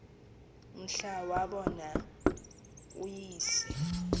mhla wabona uyise